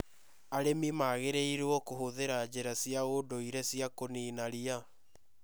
Arĩmi magĩrĩirũo kũhũthĩra njĩra cia ũndũire cia kũniina ria.